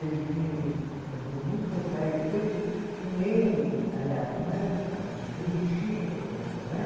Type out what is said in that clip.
Ele vinha, ele é deu muitos recitais, eu penso que nem, aliás, não era recital, ele regia a orquestra, não é?